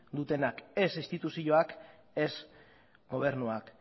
dutenak ez instituzioak ez gobernuak